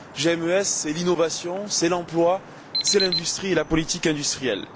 GMES, c'est l'innovation, c'est l'emploi, c'est l'industrie et la politique industrielle.